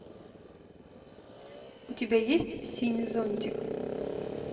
у тебя есть синий зонтик